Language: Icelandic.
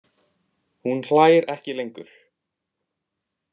Hún hlær ekki lengur.